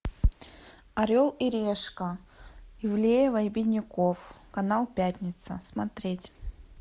орел и решка ивлеева и бедняков канал пятница смотреть